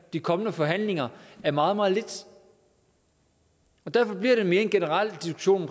de kommende forhandlinger er meget meget lidt og derfor bliver det mere en generel diskussion